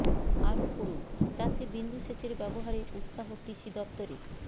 আরও পড়ুন চাষে বিন্দু সেচের ব্যবহারে উৎসাহ কৃষি দপ্তরের